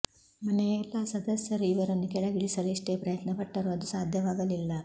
ಮನೆಯ ಎಲ್ಲಾ ಸದಸ್ಯರು ಇವರನ್ನು ಕೆಳಗಿಳಿಸಲು ಎಷ್ಟೇ ಪ್ರಯತ್ನಪಟ್ಟರೂ ಅದು ಸಾಧ್ಯವಾಗಲಿಲ್ಲ